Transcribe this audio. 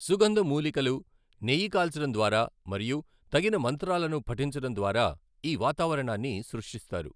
సుగంధ మూలికలు, నెయ్యి కాల్చడం ద్వారా మరియు తగిన మంత్రాలను పఠించడం ద్వారా ఈ వాతావరణాన్ని సృష్టిస్తారు.